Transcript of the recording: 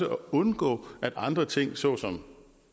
undgå at andre ting såsom